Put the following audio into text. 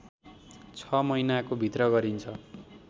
६ महिनाको भित्र गरिन्छ